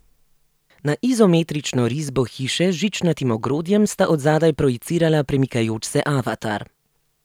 Na izometrično risbo hiše z žičnatim ogrodjem sta od zadaj projicirala premikajoč se avatar.